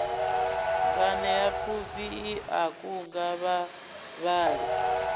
nganeapfhufhi i a kunga vhavhali